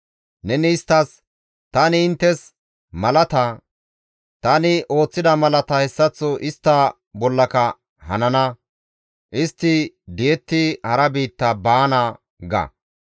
Neni isttas, « ‹Tani inttes malata; tani ooththida mala hessaththo istta bollaka hanana; istti di7ettidi hara biitta baana› ga.